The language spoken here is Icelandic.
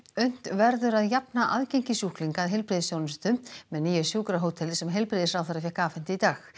unnt verður að jafna aðgengi sjúklinga að heilbrigðisþjónustu með nýju sjúkrahóteli sem heilbrigðisráðherra fékk afhent í dag